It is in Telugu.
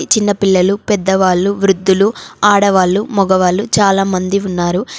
చిన్నపిల్లలు పెద్దవాళ్ళు వృద్ధులు ఆడవాళ్ళు మగవాళ్ళు చాలామంది ఉన్నారు.